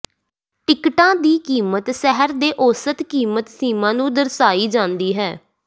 ਟਿਕਟਾਂ ਦੀ ਕੀਮਤ ਸ਼ਹਿਰ ਦੇ ਔਸਤ ਕੀਮਤ ਸੀਮਾ ਨੂੰ ਦਰਸਾਈ ਜਾਂਦੀ ਹੈ